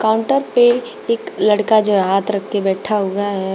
Counter पे एक लड़का जो हाथ रख के बैठा हुआ है।